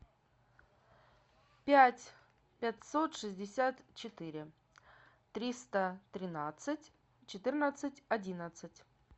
пять пятьсот шестьдесят четыре триста тринадцать четырнадцать одиннадцать